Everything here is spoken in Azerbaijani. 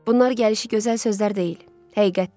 Bunlar gəlişi gözəl sözlər deyil, həqiqətdir.